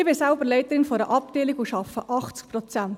Ich bin selbst Leiterin einer Abteilung und arbeite 80 Prozent.